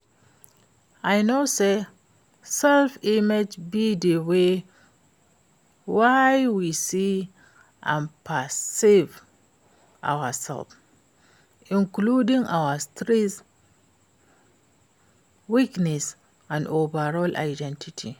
I know say self-image be di way wey we see and perceive ourselves, including our strengths, weakness and overall identity.